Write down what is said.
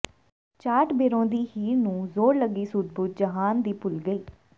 ਚਾਟ ਬਿਰਹੋਂ ਦੀ ਹੀਰ ਨੂੰ ਜ਼ੋਰ ਲੱਗੀ ਸੁੱਧ ਬੁੱਧ ਜਹਾਨ ਦੀ ਭੁੱਲ ਗਈ